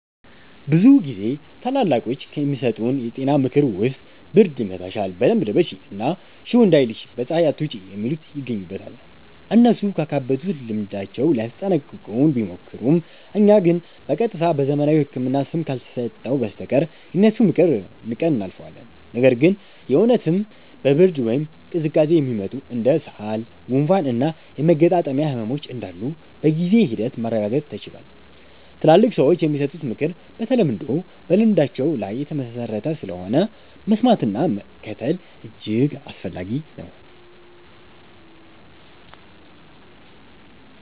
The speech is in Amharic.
ብዙ ጊዜ ታላላቆች ከሚሰጡን የጤና ምክር ውስጥ ብርድ ይመታሻል በደንብ ልበሺ እና ሽው እንዳይልሽ በ ፀሃይ አትውጪ የሚሉት ይገኙበታል። እነሱ ካካበቱት ልምዳቸው ሊያስጠነቅቁን ቢሞክሩም እኛ ግን በ ቀጥታ በዘመናዊው ህክምና ስም ካልተሰጠው በስተቀር የነሱን ምክር ንቀን እናልፈዋለን። ነገር ግን የ እውነትም በ ብርድ ወይም ቅዝቃዜ የሚመጡ እንደ ሳል፣ ጉንፋን እና የመገጣጠሚያ ህመሞች እንዳሉ በጊዜ ሂደት ማረጋገጥ ተችሏል። ትላልቅ ሰዎች የሚሰጡት ምክር በተለምዶ በልምዳቸው ላይ የተመሠረተ ስለሆነ፣ መስማትና መከተል እጅግ አስፈላጊ ነው።